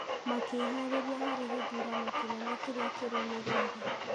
makĩharĩria harĩ gĩthurano kĩnene kĩrĩa kĩrũmĩrĩire.